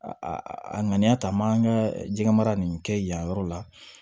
A a ŋaniya ta n b'an ka jɛgɛmara nin kɛ yen yɔrɔ la